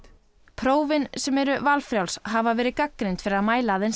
prófin sem eru valfrjáls hafa verið gagnrýnd fyrir að mæla aðeins